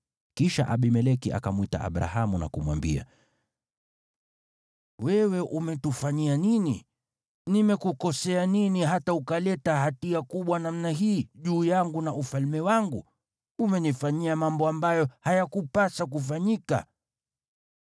Kisha Abimeleki akamwita Abrahamu na kumwambia, “Wewe umetufanyia nini? Nimekukosea nini hata ukaleta hatia kubwa namna hii juu yangu na ufalme wangu? Umenifanyia mambo ambayo hayakupasa kufanyika.”